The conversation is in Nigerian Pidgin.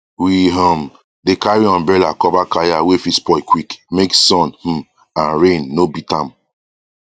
we um dey carry umbrella cover kaya wey fit spoil quick make sun um and rain no beat am